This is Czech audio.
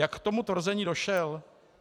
Jak k tomu tvrzení došel?